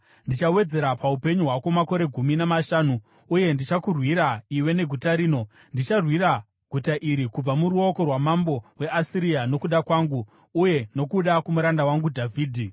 Ndichawedzera paupenyu hwako makore gumi namashanu. Uye ndichakurwira iwe neguta rino. Ndicharwira guta iri kubva muruoko rwamambo weAsiria nokuda kwangu uye nokuda kwomuranda wangu Dhavhidhi.’ ”